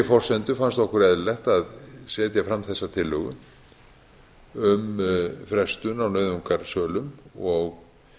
forsendu fannst okkur eðlilegt að setja fram þessa tillögu um frestun á nauðungarsölum og